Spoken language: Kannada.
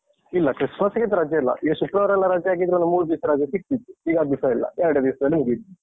ಇಲ್ಲ Christmas ಗೆ ಅಂತ ರಜೆ ಇಲ್ಲ? ಈಗ ಶುಕ್ರವಾರ ಎಲ್ಲಾ ರಜೆ ಹಾಕಿದ್ರೆ ಮೂರ್ ದಿಸ ರಜೆ ಸಿಕ್ತಿತ್ತು ಈಗ ಅದೂಸ ಇಲ್ಲ. ಎರಡೇ ದಿವ್ಸದಲ್ಲಿ ಮುಗೀತು.